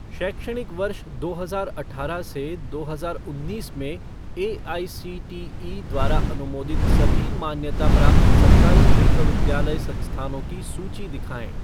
शैक्षणिक वर्ष दो हजार अठारह से दो हजार उन्नीस में एआईसीटीई द्वारा अनुमोदित सभी मान्यता प्राप्त सरकारी विश्वविद्यालय संस्थानों की सूची दिखाएँ।